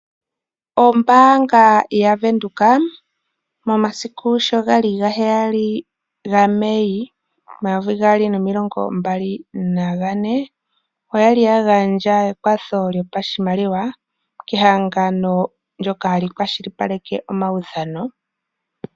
Ombaanga ya Venduka momasiku sho gali ga heyali ga Mai omayovi gaali nomilongo mbali na ga ne, oya li ya gandja ekwatho lyopashimaliwa kehangano ndoka hali kwashilipaleke omaudhano.